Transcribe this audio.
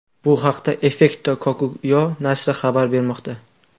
Bu haqda Efecto Cocuyo nashri xabar bermoqda .